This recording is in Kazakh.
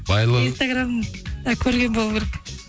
инстаграмда көрген болу керек